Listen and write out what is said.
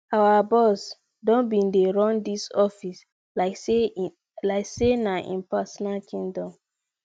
our boss don bin dey run dis office like sey na im personal kingdom